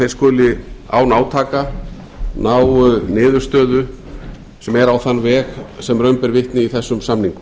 þeir skuli án átaka ná niðurstöðu sem er á þann veg sem raun ber vitni í þessum samningum